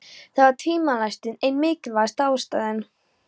Það var tvímælalaust ein mikilvægasta ástæðan.